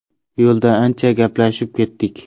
Yo‘lda ancha gaplashib ketdik.